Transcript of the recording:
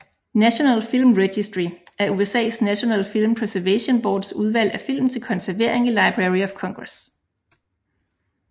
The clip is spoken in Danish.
National Film Registry er USAs National Film Preservation Boards udvalg af film til konservering i Library of Congress